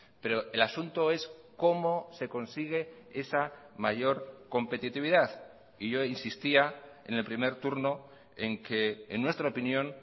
pero el asunto es cómo se consigue esa mayor competitividad y yo insistía en el primer turno en que en nuestra opinión